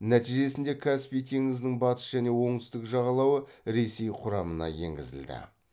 нәтижесінде каспий теңізінің батыс және оңтүстік жағалауы ресей құрамына енгізілді